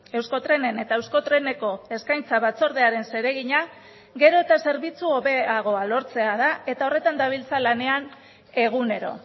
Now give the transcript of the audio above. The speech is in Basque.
euskotrenen eta euskotreneko eskaintza batzordearen zeregina gero eta zerbitzu hobeagoa lortzea da eta horretan dabiltza lanean egunero